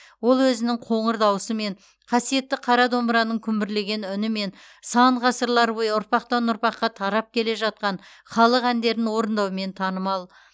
ол өзінің қоңыр даусымен қасиетті қара домбыраның күмбірлеген үнімен сан ғасырлар бойы ұрпақтан ұрпаққа тарап келе жатқан халық әндерін орындаумен танымал